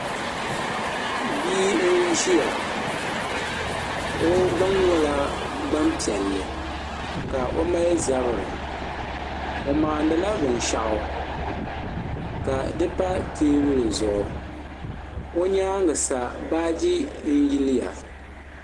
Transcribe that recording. Bia n-ʒiya o gbaŋ nyɛla gbaŋ' piɛlli ka o mali zabiri o maanila binshɛɣu ka di pa teebuli zuɣu o nyaaga sa baaji n-yiliya.